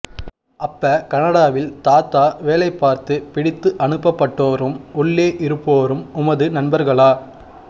அப்ப கனடாவில் தாதா வேலை பார்த்து பிடித்து அனுப்பப் பட்டோரும் உள்ளே இருப்போரும் உமது நண்பர்களா